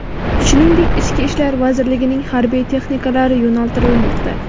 shuningdek Ichki ishlar vazirligining harbiy texnikalari yo‘naltirilmoqda.